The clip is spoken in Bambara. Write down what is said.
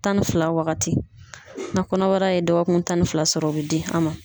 Tan ni fila wagati. Na kɔnɔbara ye dɔgɔkun tan ni fila sɔrɔ o be di a ma.